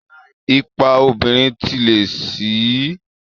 Ipa obìnrin ti lé sí i